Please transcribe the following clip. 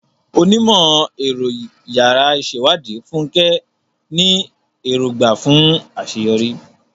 Onímọ̀-ẹ̀rọ yàrá ìṣèwádìí, Fúnkẹ́, ní èrògbà fún àṣeyọrí